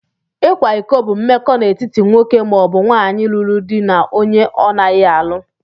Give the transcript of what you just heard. ikwa ịkọ bụ mmekọ na étíti nwoke maọbu nwaanyị lụrụ dị na ọnye ọnaghi alụ.